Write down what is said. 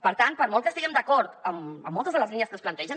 per tant per molt que estiguem d’acord amb moltes de les línies que es plantegen